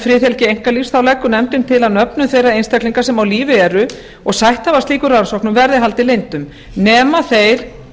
friðhelgi einkalífs leggur nefndin til að nöfnum þeirra einstaklinga sem á lífi eru og sætt hafa slíkum rannsóknum verði haldið leyndum nema þeir